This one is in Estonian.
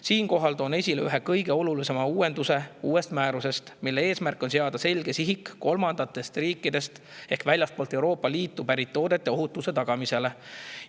Siinkohal toon uuest määrusest esile ühe kõige olulisema uuenduse, mille eesmärk on seada selge sihik kolmandatest riikidest ehk väljastpoolt Euroopa Liitu pärit toodete ohutuse tagamisele.